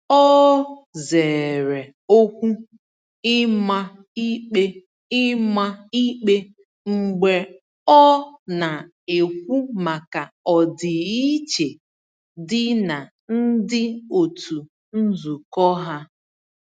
O zere okwu ịma ikpe ịma ikpe mgbe ọ na-ekwu maka ọdịiche dị na ndi otu nzukọ ha.